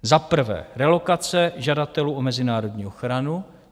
Za prvé, relokace žadatelů o mezinárodní ochranu.